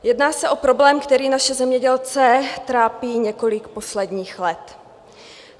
Jedná se o problém, který naše zemědělce trápí několik posledních let.